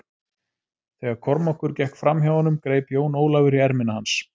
Þegar Kormákur gekk fram hjá honum greip Jón Ólafur í ermina hans.